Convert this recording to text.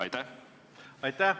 Aitäh!